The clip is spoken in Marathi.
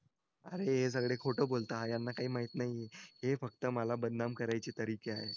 अरे हे सगळे खोटं बोलताय यांना काही माहीत नाही हे फक्त मला बदनाम करायचे तरीके आहेत